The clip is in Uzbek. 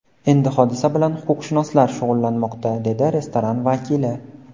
Endi hodisa bilan huquqshunoslar shug‘ullanmoqda, dedi restoran vakili.